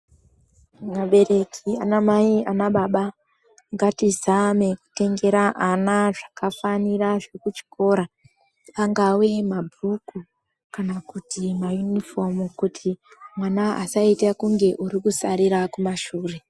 Vabereki, anamai anababa, ngatizame kutengera ana zvakafanira zvekuchikora, angawe mabhuku kana kuti mayunifomu kuti mwana asaite kunge arikusarira kumashure.